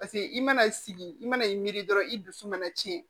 Paseke i mana sigi i mana i miri dɔrɔn i dusu mana cɛn